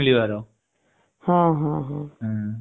ହଁ ହଁ